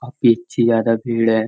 अभी इतनी ज्यादा भीड़ है --